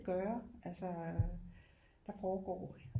Gøre altså der foregår